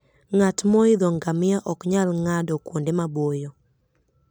Ng'at moidho ngamia ok nyal ng'ado kuonde maboyo.